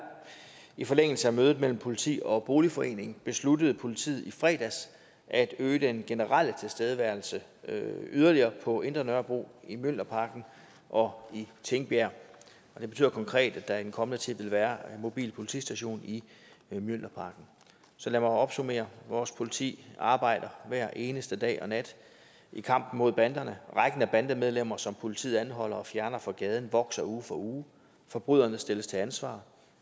i forlængelse af mødet mellem politiet og boligforeningen besluttede politiet i fredags at øge den generelle tilstedeværelse yderligere på indre nørrebro i mjølnerparken og i tingbjerg og det betyder konkret at der i den kommende tid vil være en mobil politistation i mjølnerparken så lad mig opsummere vores politi arbejder hver eneste dag og nat i kampen mod banderne rækken af bandemedlemmer som politiet anholder og fjerner fra gaden vokser uge for uge forbryderne stilles til ansvar og